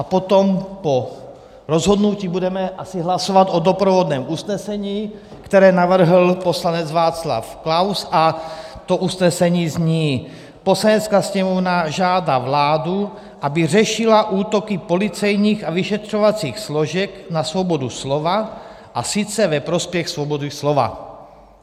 A potom po rozhodnutí budeme asi hlasovat o doprovodném usnesení, které navrhl poslanec Václav Klaus, a to usnesení zní: "Poslanecká sněmovna žádá vládu, aby řešila útoky policejních a vyšetřovacích složek na svobodu slova, a sice ve prospěch svobody slova."